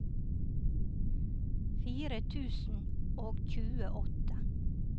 fire tusen og tjueåtte